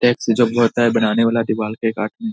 tax जब ही होता है बनाने वाला के काटने --